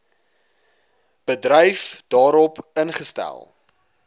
bedryf daarop ingestel